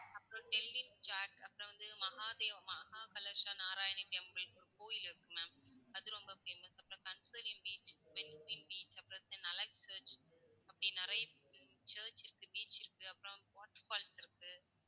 அப்பறம் dilip chat, அப்பறம் வந்து மஹாதேவ் மஹா கலச நாராயண temple கோயில் இருக்கு ma'am அது ரொம்ப famous அப்பறம் beach beach அப்பறம் church அப்படி நிறைய church இருக்கு beach இருக்கு. அப்பறம் water falls இருக்கு.